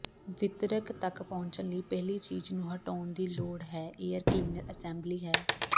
ਵਿਤਰਕ ਤਕ ਪਹੁੰਚਣ ਲਈ ਪਹਿਲੀ ਚੀਜ਼ ਨੂੰ ਹਟਵਾਉਣ ਦੀ ਲੋੜ ਹੈ ਏਅਰ ਕਲੀਨਰ ਅਸੈਂਬਲੀ ਹੈ